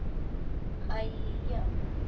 Æi, já.